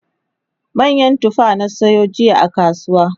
manyan tufa na sayo jiya a kasuwa